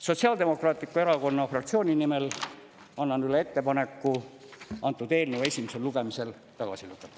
Sotsiaaldemokraatliku Erakonna fraktsiooni nimel annan üle ettepaneku antud eelnõu esimesel lugemisel tagasi lükata.